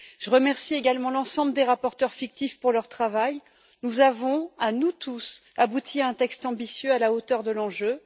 Je remercie également l'ensemble des rapporteurs fictifs pour leur travail. Nous avons, à nous tous, abouti à un texte ambitieux à la hauteur de l'enjeu.